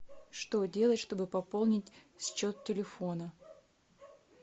что делать чтобы пополнить счет телефона